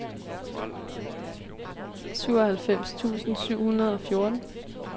syvoghalvfems tusind syv hundrede og fjorten